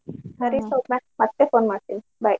ಸರಿ ಸೌಮ್ಯ ಮತ್ತೆ phone ಮಾಡ್ತೇನಿ bye .